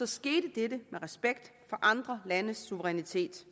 skete dette med respekt for andre landes suverænitet